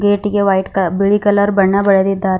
ಗೇಟಿಗೆ white ಕಲ ಬಿಳಿ colour ಬಣ್ಣ ಬಳಿದಿದ್ದಾರೆ.